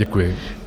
Děkuji.